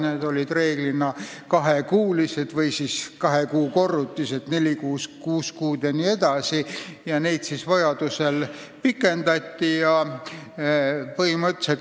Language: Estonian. Need olid reeglina kahe kuu pikkused või kahe kuu korrutised – neli kuud, kuus kuud jne – ja vajadusel kuid lisati.